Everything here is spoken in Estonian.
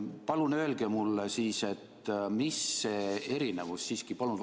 Palun öelge mulle, mis see erinevus siiski on!